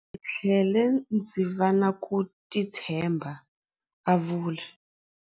Ndzi tlhele ndzi va na ku titshemba, a vula.